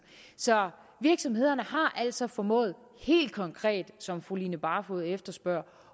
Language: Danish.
så virksomhederne har altså formået helt konkret som fru line barfod efterspørger